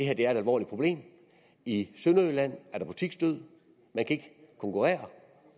er et alvorligt problem i sønderjylland er der butiksdød man kan ikke konkurrere